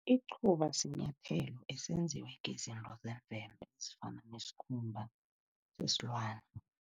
Icuba sinyathelo esenziwe ngezinto zemvelo ezifana nesikhumba sesilwane.